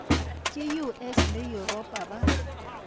ka us le yuropa ba